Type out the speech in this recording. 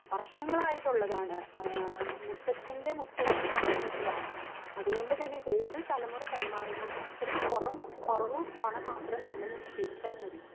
വർഷങ്ങളായിട്ട് ഉള്ളതാണ് ആഹ് മുത്തച്ഛൻ്റെ മുത്തച്ഛൻ തൊടങ്ങി വെച്ചതാണ് അതുപോലെ തന്നെ ഓരോ തലമുറ കൈമാറുമ്പോൾ അത്രേം കൊറവ് പണം മാത്രം നമ്മൾ നിക്ഷേപിച്ചാൽ മതി